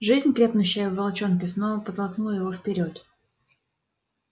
жизнь крепнущая в волчонке словно подтолкнула его вперёд